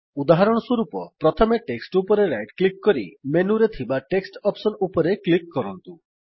ଉଦାହରଣସ୍ୱରୂପ ପ୍ରଥମେ ଟେକ୍ସଟ୍ ଉପରେ ରାଇଟ୍ କ୍ଲିକ୍ କରି ମେନୁରେ ଥିବା ଟେକ୍ସଟ ଅପ୍ସସନ୍ ଉପରେ କ୍ଲିକ୍ କରନ୍ତୁ